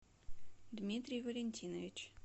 дмитрий валентинович